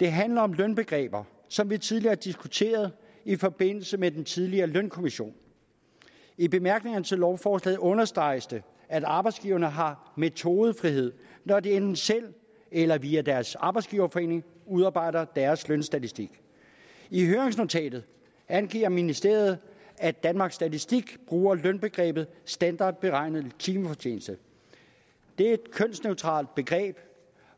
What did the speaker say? det handler om lønbegreber som vi tidligere diskuterede i forbindelse med den tidligere lønkommission i bemærkningerne til lovforslaget understreges det at arbejdsgiverne har metodefrihed når de enten selv eller via deres arbejdsgiverforening udarbejder deres lønstatistik i høringsnotatet angiver ministeriet at danmarks statistik bruger lønbegrebet standardberegnet timefortjeneste det er et kønsneutralt begreb